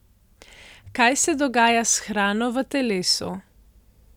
Kaj se dogaja s hrano v telesu?